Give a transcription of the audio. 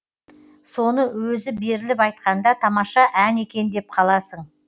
соны өзі беріліп айтқанда тамаша ән екен деп қаласың